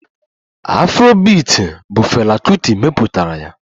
Afrobiiti bụ fela Kuti mepụtara ya